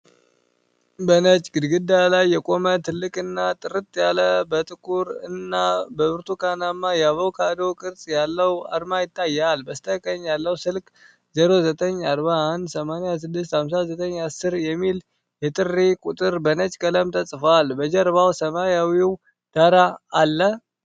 በነጭ ግድግዳ ላይ የቆመ ትልቅና ጥርት ያለ ጥቁር እና ብርቱካናማ የአቮካዶ ቅርጽ ያለው አርማ ይታያል። በስተቀኝ ያለው "ስልክ 0941865910" የሚል የጥሪ ቁጥር በነጭ ቀለም ተጽፏል። በጀርባው ሰማያዊው ዳራ አለ?